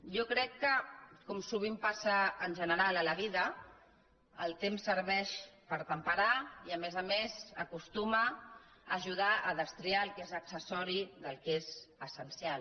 jo crec que com sovint passa en general a la vida el temps serveix per a temperar i a més a més ajuda a destriar el que és accessori del que és essencial